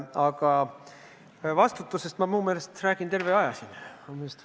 Aga vastutusest ma oma meelest olen terve see aeg siin rääkinud.